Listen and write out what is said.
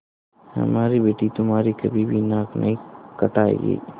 हमारी बेटी तुम्हारी कभी भी नाक नहीं कटायेगी